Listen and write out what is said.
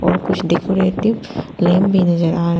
और कुछ decorative lamp भी नजर आ--